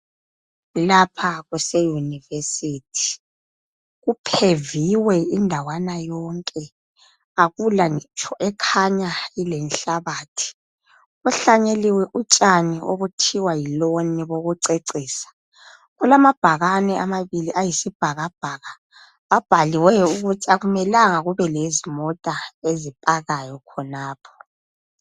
Lapha kuse university kupheviwe indawana yonke akula ngitsho ekhanya ilenhlabathi. Kuhlanyeliwe utshani obuthiwa yi loni bokucecisa, kulamabhakane amabili ayisibhakabhaka abhaliweyo ukuthi akumelanga kube lezimota ezipakayo khonapho.